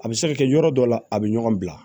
A bɛ se ka kɛ yɔrɔ dɔ la a bɛ ɲɔgɔn bila